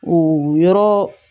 O yɔrɔ